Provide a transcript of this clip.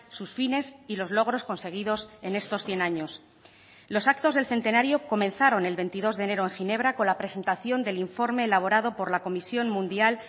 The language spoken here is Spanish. sus fines y los logros conseguidos en estos cien años los actos del centenario comenzaron el veintidós de enero en ginebra con la presentación del informe elaborado por la comisión mundial